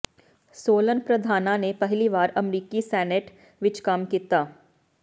ਸੋਲਨ ਪ੍ਰਧਾਨਾਂ ਨੇ ਪਹਿਲੀ ਵਾਰ ਅਮਰੀਕੀ ਸੈਨੇਟ ਵਿਚ ਕੰਮ ਕੀਤਾ